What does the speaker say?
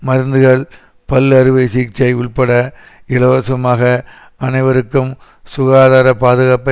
மருந்துகள் பல் அறுவை சிகிச்சை உள்பட இலவசமாக அனைவருக்கும் சுகாதார பாதுகாப்பை